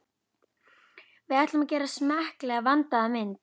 Við ætlum að gera smekklega, vandaða mynd.